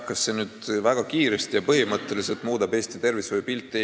Kas see nüüd väga kiiresti ja põhimõtteliselt muudab Eesti tervishoiu pilti?